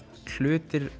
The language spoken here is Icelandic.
hlutir